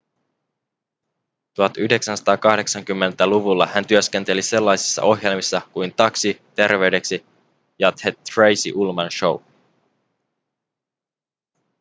1980-luvulla hän työskenteli sellaisissa ohjelmissa kuin taxi terveydeksi ja the tracy ullman show